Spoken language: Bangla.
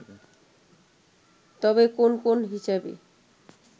তবে কোন কোন হিসাবে